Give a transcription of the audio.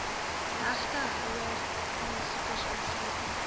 regtehouer aansoekers insluitende